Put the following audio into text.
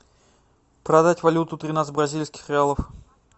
продать валюту тринадцать бразильских реалов